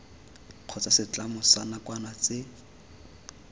kgotsa setlamo sa nakwana tse